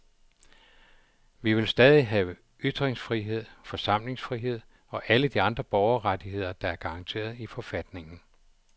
Vi vil stadig have ytringsfrihed, forsamlingsfrihed og alle de andre borgerrettigheder, der er garanteret i forfatningen.